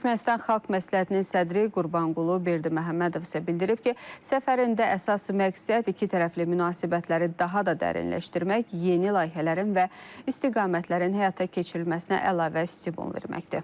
Türkmənistan Xalq Məsləhətinin sədri Qurbanqulu Berdiməhəmmədov isə bildirib ki, səfərində əsas məqsəd ikitərəfli münasibətləri daha da dərinləşdirmək, yeni layihələrin və istiqamətlərin həyata keçirilməsinə əlavə stimul verməkdir.